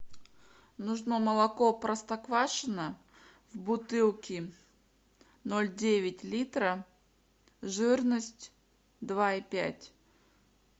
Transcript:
нужно молоко простоквашино в бутылке ноль девять литра жирность два и пять